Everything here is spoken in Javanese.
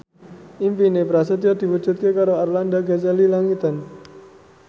impine Prasetyo diwujudke karo Arlanda Ghazali Langitan